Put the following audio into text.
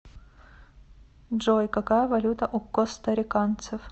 джой какая валюта у костариканцев